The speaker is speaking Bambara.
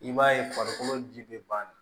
I b'a ye farikolo ji bɛ ban